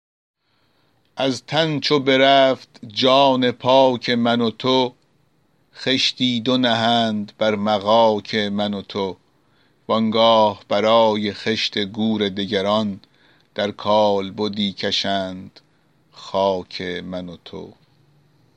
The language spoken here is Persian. از تن چو برفت جان پاک من و تو خشتی دو نهند بر مغاک من و تو وآنگاه برای خشت گور دگران در کالبدی کشند خاک من و تو